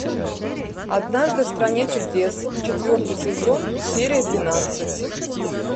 однажды в стране чудес четвертый сезон серия двенадцать